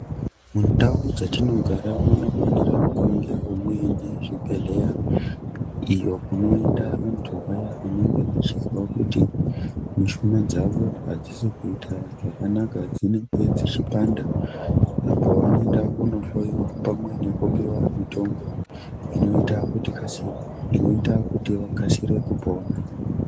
Mundau dzatinogara munofanira kungevo muine zvibhedhleya. Iyo kunoenda vantu vaya anenge achizwa kuti mushuna dzavo hadzisikuita zvakanaka dzinenge dzichipanda .Apo vavoenda kunohloiwa pamwe nekupiva mutombo inoita kuti vakasi inoita kuti vakasire kupona.